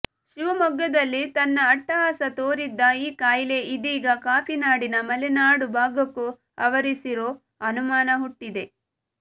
ಶಿವಮೊಗ್ಗದಲ್ಲಿ ತನ್ನ ಅಟ್ಟಹಾಸ ತೋರಿದ್ದ ಈ ಕಾಯಿಲೆ ಇದೀಗ ಕಾಫಿನಾಡಿನ ಮಲೆನಾಡು ಭಾಗಕ್ಕೂ ಆವರಿಸಿರೋ ಅನುಮಾನ ಹುಟ್ಟಿದೆ